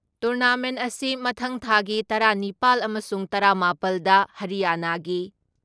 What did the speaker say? tournament ꯑꯁꯤ ꯃꯊꯪ ꯊꯥꯒꯤ ꯇꯔꯥ ꯅꯤꯄꯥꯜ ꯑꯃꯁꯨꯡ ꯇꯔꯥ ꯃꯥꯄꯜ ꯗ ꯍꯔꯤꯌꯥꯅꯥꯒꯤ